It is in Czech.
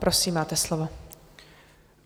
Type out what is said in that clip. Prosím, máte slovo.